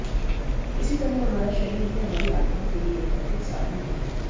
इसी तरह हमारा शरीर भी हमारी आत्मा के लिए एक भौतिक साधन है